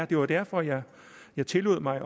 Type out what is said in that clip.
det var derfor jeg jeg tillod mig